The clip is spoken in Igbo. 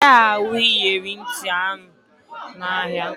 Ị gaghị ahụ iyeri ntị ahụ n'ahịa